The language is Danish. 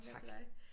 Ah tak!